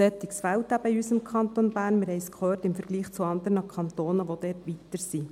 Ein solches fehlt eben im Kanton Bern, im Vergleich zu anderen Kantonen – wir haben es gehört –, die dort weiter sind.